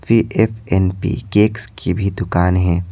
फिर ए_फ केक्स की भी दुकान है।